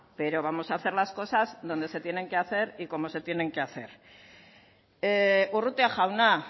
pero vamos a hacer las cosas donde se tienen que hacer y como se tienen que hacer urrutia jauna